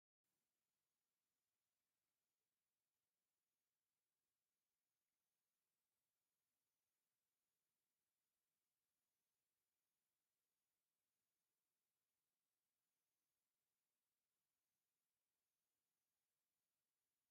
እዚ ኣብ ሳንዱቕ ዝተኣከበ ቡዝሕ ኮሚደረ ዘርኢ እዩ። ሕብሩ ካብ ቀጠልያ ክሳብ ቀይሕ ይበጽሕ። ብኣግኡን ዝበሰሉ ይመስሉ። እዚ ስእሊ ናይ ሓደ ብምግቢ ዝተመልአን ጽባቐ ተፈጥሮ ዘርኢን እዩ።